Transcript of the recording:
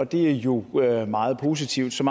det er jo meget positivt så